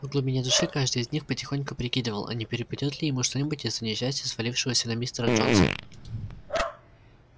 в глубине души каждый из них потихоньку прикидывал а не перепадёт ли ему что-нибудь из-за несчастья свалившегося на мистера джонса